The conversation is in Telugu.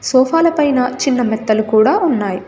సోఫా ల పైన చిన్న మెత్తలు కూడా ఉన్నాయి.